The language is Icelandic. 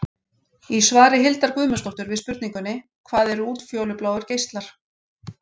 Í svari Hildar Guðmundsdóttur við spurningunni: Hvað eru útfjólubláir geislar?